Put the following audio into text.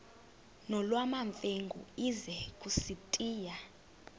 nolwamamfengu ize kusitiya